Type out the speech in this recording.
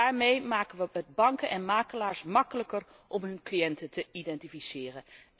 En daarmee maken we het banken en makelaars makkelijker om hun cliënten te identificeren.